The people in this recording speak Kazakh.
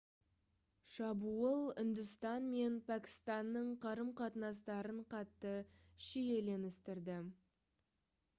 шабуыл үндістан мен пәкістанның қарым-қатынастарын қатты шиеленістірді